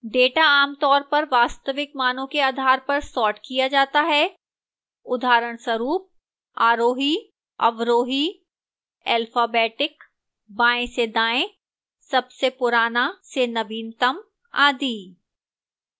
data आमतौर पर वास्तविक मानों के आधार पर सॉर्ट किया data है उदहरणस्वरूप आरोही अवरोही alphabetic बाएँ से दाएँ सबसे पुराना से नवीनतम आदि